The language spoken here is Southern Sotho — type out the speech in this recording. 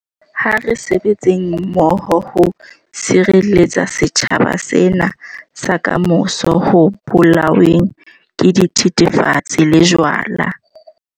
Ha re sebetseng mmoho ho sireletsa setjhaba sena sa kamoso ho bolaweng ke dithethefatsi le jwala.